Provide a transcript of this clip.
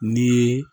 Ni